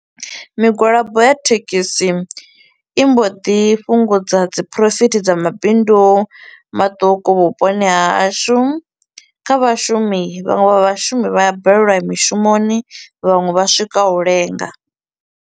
Migwalabo ya thekhisi i mbo ḓi fhungudza dzi profit dza mabindu maṱuku vhuponi hahashu, kha vhashumi vhaṅwe vha vhashumi vha a balelwa u ya mishumoni, vhaṅwe vha swika u lenga.